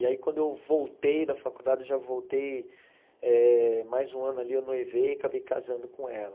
E aí, quando eu voltei da faculdade, já voltei eh mais um ano ali, eu noivei e acabei casando com ela.